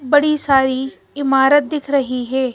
बड़ी सारी इमारत दिख रही है।